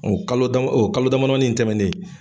O kalo o kalo dama damani tɛmɛnen